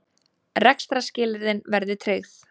Rekstrarskilyrðin verði tryggð